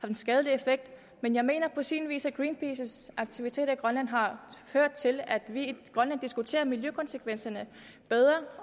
en skadelig effekt men jeg mener på sin vis også at greenpeaces aktiviteter i grønland har ført til at vi i grønland diskuterer miljøkonsekvenserne bedre